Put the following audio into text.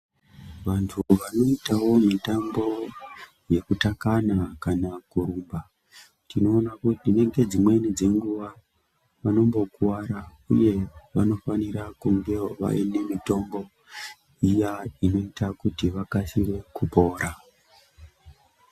Vamthu vanoitawo mitambo yekutakana kana kurumba tinoona kuti ngedzimweni dzenguwa vanombokuwara uye vanofanira kungewo vaine mitombo iya inoita kuti vakasire kupora.